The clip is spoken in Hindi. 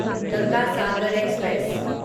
गंगा सागर एक्सप्रेस